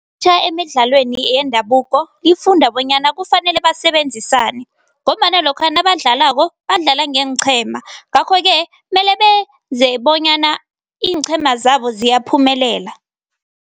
Emidlalweni yendabuko lifunda bonyana kufanele basebenzisane ngombana lokha nabadlalako, badlala ngeenqhema ngakho-ke mele benze bonyana iinqhema zabo ziyaphumelela.